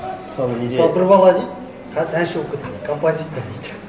мысалы неде мысалы бір бала дейді қазір әнші болып кетті композитор дейді